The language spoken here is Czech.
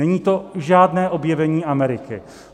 Není to žádné objevení Ameriky.